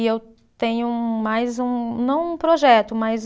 E eu tenho mais um, não um projeto, mas.